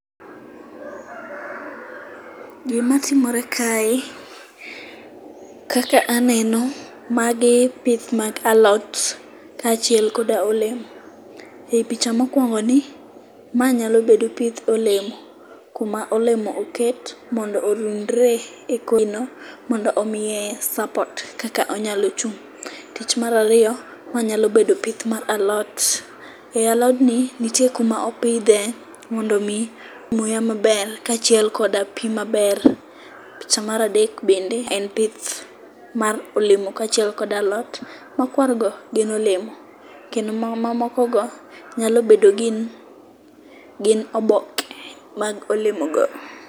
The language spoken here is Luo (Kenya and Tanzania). Gima timore kae kaka aneno, magi pith mag alot. Kaachiel koda olemo. E picha mokuongoni, ma nyalo bedo pith olemo. Kuma olemo oket mondo orundre ekor gino mondo omiye suppot kaka onyalo chung'. Tich mar ariyo, onyalo bedo pith mar alot. E alodni nitie kuma opidhe mondo mi muya maber kaachiel koda pi maber. Picha mar adek bende en pith mar olemo kaachiel kod alot,. Mokuongo en olemo kendo mamokogo nyalo bedo ni gin oboke mag olemo go.